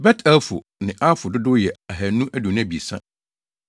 Bet-Elfo ne Aifo dodow yɛ 2 223 1